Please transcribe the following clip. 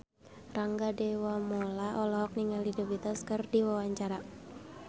Rangga Dewamoela olohok ningali The Beatles keur diwawancara